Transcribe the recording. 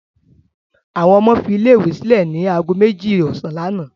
Àwọn ọmọ fi ilé-ìwé sílẹ̀ ní ago méjì ọ̀sán lánàá.